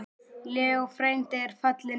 Leó frændi er fallinn frá.